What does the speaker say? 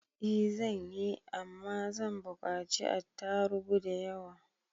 I zanyi, Amma zan bukaci attarubu da yawa.